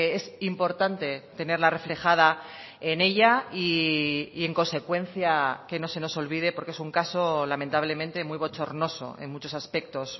es importante tenerla reflejada en ella y en consecuencia que no se nos olvide porque es un caso lamentablemente muy bochornoso en muchos aspectos